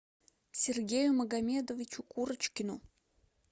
сергею магомедовичу курочкину